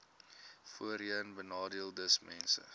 voorheenbenadeeldesmense